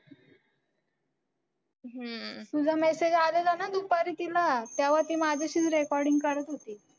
तुझा message आलेला ना दुपारी तिला. त्यावर ती माझ्याशीच recording करत होती.